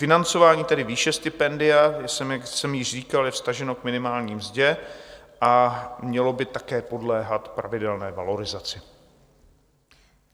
Financování, tedy výše stipendia, jak jsem již říkal, je vztaženo k minimální mzdě a mělo by také podléhat pravidelné valorizaci.